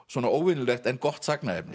svona óvenjulegt en gott